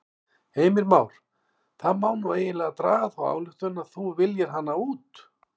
Heimir Már: Það má nú eiginlega draga þá ályktun að þú viljir hana út?